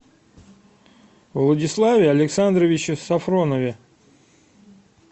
владиславе александровиче софронове